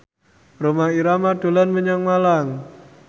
Rhoma Irama dolan menyang Malang